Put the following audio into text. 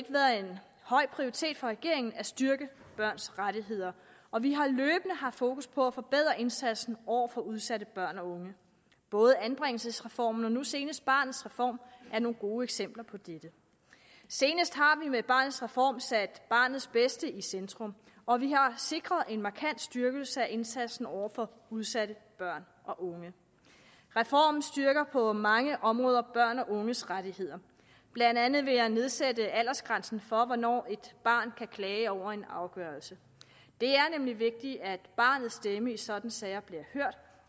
høj prioritet for regeringen at styrke børns rettigheder og vi har løbende haft fokus på at forbedre indsatsen over for udsatte børn og unge både anbringelsesreformen og nu senest barnets reform er nogle gode eksempler på dette senest har vi med barnets reform sat barnets bedste i centrum og vi har sikret en markant styrkelse af indsatsen over for udsatte børn og unge reformen styrker på mange områder børns og unges rettigheder blandt andet ved at nedsætte aldersgrænsen for hvornår et barn kan klage over en afgørelse det er nemlig vigtigt at barnets stemme i sådanne sager